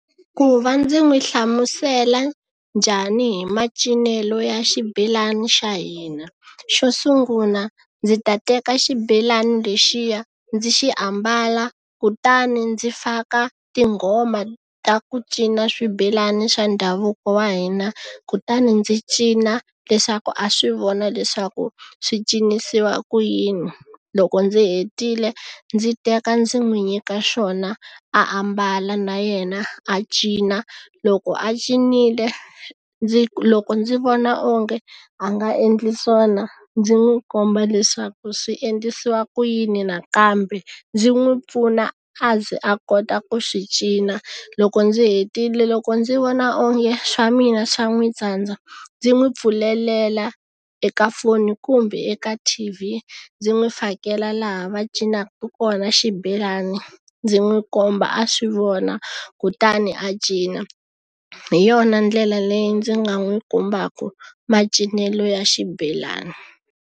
Ku va ndzi n'wi hlamusela njhani hi macinelo ya xibelani xa hina xo sungula ndzi ta teka xibelani lexiya ndzi xi ambala kutani ndzi faka tinghoma ta ku cina swibelani swa ndhavuko wa hina kutani ndzi cina leswaku a swi vona leswaku swi cincisiwa ku yini loko ndzi hetile ndzi teka ndzi n'wi nyika xona ambala na yena a cina loko a cinile ndzi loko ndzi vona onge a nga endli swona ndzi n'wi komba leswaku swi endlisiwa ku yini nakambe ndzi n'wi pfuna a ze a kota ku swi cina loko ndzi hetile loko ndzi vona onge swa mina swa n'wi tsandza ndzi n'wi pfulelela eka foni kumbe eka T_V ndzi n'wi fakela laha va cinaka kona xibelani ndzi n'wi komba a swi vona kutani a cina hi yona ndlela leyi ndzi nga n'wi kombaka macinelo ya xibelani.